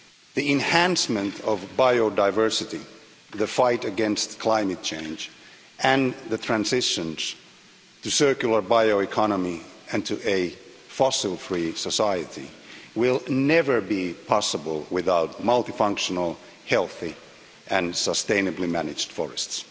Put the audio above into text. The enhancement of biodiversity, the fight against climate change and the transitions to a circular bioeconomy and to a fossil free society will never be possible without multifunctional, healthy, and sustainably managed forests.